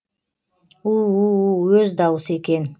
у у у өз даусы екен